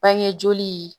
Bange joli